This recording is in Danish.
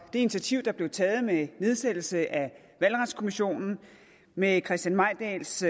initiativ der blev taget med nedsættelsen af valgretskommissionen med christian mejdahls